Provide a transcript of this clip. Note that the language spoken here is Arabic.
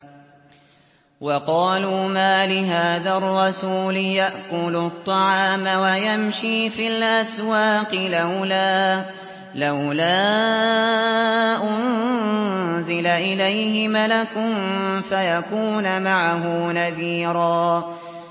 وَقَالُوا مَالِ هَٰذَا الرَّسُولِ يَأْكُلُ الطَّعَامَ وَيَمْشِي فِي الْأَسْوَاقِ ۙ لَوْلَا أُنزِلَ إِلَيْهِ مَلَكٌ فَيَكُونَ مَعَهُ نَذِيرًا